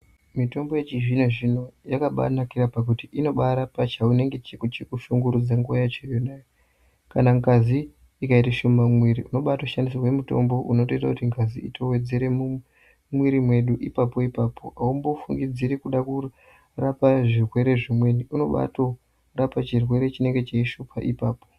Mitombo yechizvino zvino yakabaa nakira pakuti inobaarapa chaunge chiku chikushungrudza nguwa yacho iyona iyoyo kana ngazi ikaite shoma mumwiri unobaatishandisirwe mutombo unotoite kuti ngazi itowedzere mumwiri wedu ipapo ipapo aumbofungidziri kuda kuri kurapa zvirwere zvimweni unobato rapa chirwere chinenge cheishupa ipapo.